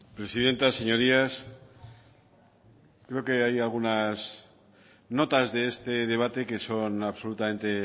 presidenta señorías creo que hay algunas notas de este debate que son absolutamente